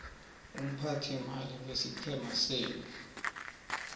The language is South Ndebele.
umphathiimali wesiqhema senu